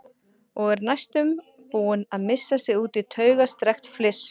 Og er næstum búin að missa sig út í taugastrekkt fliss.